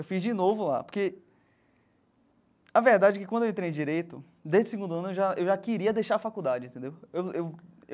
Eu fiz de novo lá, porque a verdade é que quando eu entrei em Direito, desde o segundo ano eu já eu já queria deixar a faculdade, entendeu? Eu eu eu.